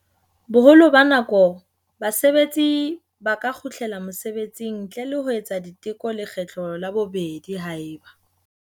Boholo ba nako, basebetsi ba ka kgutlela mosebetsing ntle le ho etsa diteko lekgetlo la bobedi haeba.